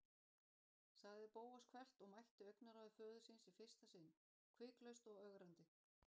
sagði Bóas hvellt og mætti augnaráði föður síns í fyrsta sinn, hviklaust og ögrandi.